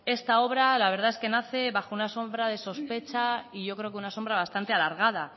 esta obra la verdad es que nace bajo una sombra de sospecha y yo creo que una sombra bastante alargada